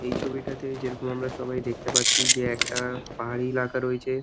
এই ছবিটাতে যেইরকম আমরা দেখতে পারছি একটা পাহাড়ি এলাকা রয়েছে।